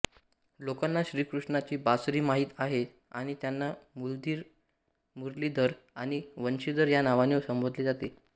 लोकांना श्रीकृष्णाची बासरी माहित आहे आणि त्यांना मुरलीधर आणि वंशीधर या नावाने संबोधले जाते